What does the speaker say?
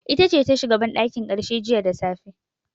Ita ce ta shiga banɗakin karshe jiya da safe.